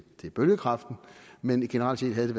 bølgekraften men generelt set havde